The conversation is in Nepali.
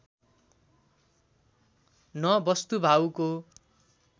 न बस्तुभाउको